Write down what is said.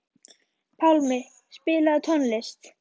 Pálmi, spilaðu tónlist.